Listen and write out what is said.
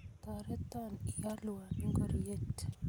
torote ialwo ngoriet